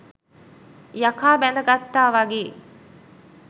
යකා බැඳ ගත්තා වගේ !